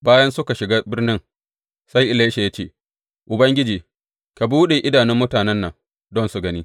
Bayan suka shiga birnin, sai Elisha ya ce, Ubangiji, ka buɗe idanun mutanen nan don su gani.